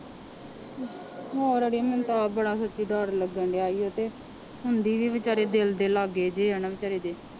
ਹੋਰ ਆੜੀਏ ਮੈਨੂੰ ਤਾਂ ਆਪ ਬੜਾ ਸੱਚੀ ਡਰ ਲੱਗਣਡਿਆ ਸੀ ਤੇ ਹੁੰਦੀ ਵੀ ਬੇਚਾਰੇ ਦਿਲ ਦੇ ਲਾਗੇ ਜਿਹੇ ਆ ਨਾ ਬੇਚਾਰੇ ਦੇ